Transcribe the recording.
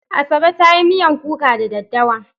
Asabe za ta yi miyan kuka da daddawa.